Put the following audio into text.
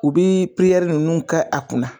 U bi nunnu kɛ a kunna